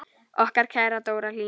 Okkar kæra Dóra Hlín.